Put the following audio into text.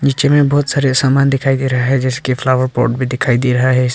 जिनमें बहोत सारे सामान दिखाई दे रहा है जिसके फ्लावर पॉट भी दिखाई दे रहा है।